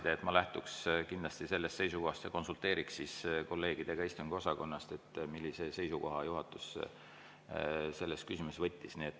Nii et ma lähtuksin kindlasti sellest seisukohast ja konsulteeriksin siis kolleegidega istungiosakonnast, millise seisukoha juhatus selles küsimuses võttis.